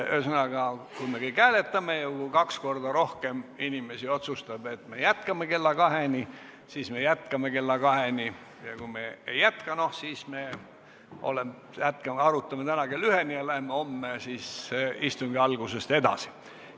Ühesõnaga, kui me kõik hääletame ja kui kaks korda rohkem inimesi otsustab, et jätkame kella kaheni, siis me jätkame kella kaheni, ja kui otsustame mitte jätkata, siis arutame täna kella üheni ja läheme homme selle teemaga istungi alguses edasi.